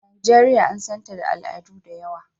Najeriya an san ta da al'adu da yawa.